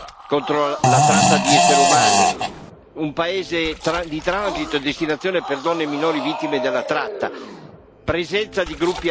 paese di transito e destinazione per donne e minori vittime della tratta, presenza di gruppi armati, coinvolgimento in attività criminali organizzate.